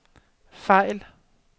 fejl